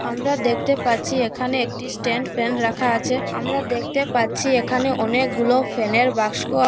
আমরা দেখতে পাচ্ছি এখানে একটি স্ট্যান্ড ফ্যান রাখা আছে আমরা দেখতে পাচ্ছি এখানে অনেকগুলো ফ্যানের বাস্ক --